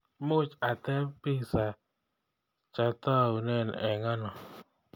Muuch atep pisaa chataune eng ano